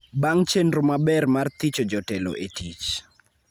bang� chenro maber mar thicho jotelo e tich.